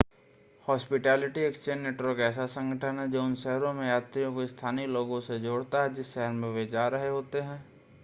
hospitality exchange network ऐसा संगठन है जो उन शहरों में यात्रियों को स्थानीय लोगों से जोड़ता है जिस शहर में वे जा रहे होते हैं